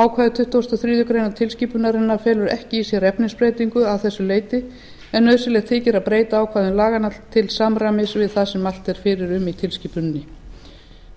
ákvæði tuttugasta og fjórðu grein tilskipunarinnar felur ekki í sér efnisbreytingu að þessu leyti en nauðsynlegt þykir að breyta ákvæðum laganna til samræmis við það sem mælt er fyrir um í tilskipuninni